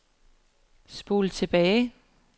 spol tilbage